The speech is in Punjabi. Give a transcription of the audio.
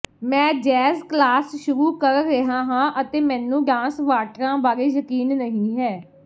ਮੈਂ ਜੈਜ਼ ਕਲਾਸ ਸ਼ੁਰੂ ਕਰ ਰਿਹਾ ਹਾਂ ਅਤੇ ਮੈਨੂੰ ਡਾਂਸ ਵਾਟਰਾਂ ਬਾਰੇ ਯਕੀਨ ਨਹੀਂ ਹੈ